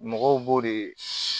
Mɔgɔw b'o de